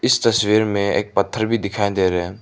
इस तस्वीर में एक पत्थर भी दिखाई दे रहे --